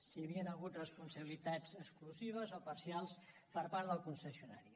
si hi havien hagut responsabilitats exclusives o parcials per part del concessionari